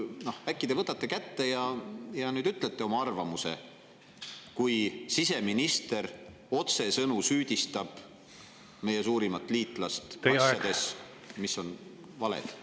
Noh, äkki te võtate kätte ja ütlete nüüd oma arvamuse selle kohta, et siseminister otsesõnu süüdistab meie suurimat liitlast asjades, mis on valed?